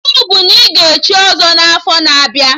Iwu bụ na ị ga echi ọzọ n'afọ na-abịa!